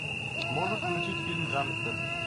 можешь включить фильм гангстер